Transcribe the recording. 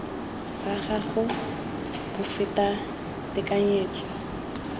sa gago bo feta tekanyetso